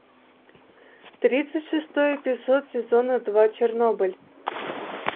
тридцать шестой эпизод сезона два чернобыль